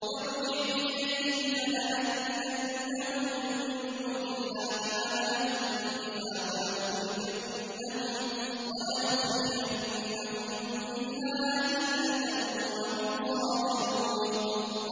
ارْجِعْ إِلَيْهِمْ فَلَنَأْتِيَنَّهُم بِجُنُودٍ لَّا قِبَلَ لَهُم بِهَا وَلَنُخْرِجَنَّهُم مِّنْهَا أَذِلَّةً وَهُمْ صَاغِرُونَ